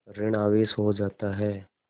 ॠण आवेश हो जाता है